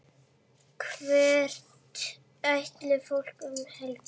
Hvert ætlar fólk um helgina?